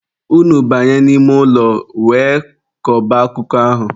Unu banye n'ime ụlọ wee kọba akụkọ ahụ!